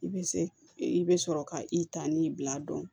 I bɛ se i bɛ sɔrɔ ka i ta n'i bila dɔn